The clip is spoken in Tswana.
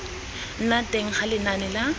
nna teng ga lenane la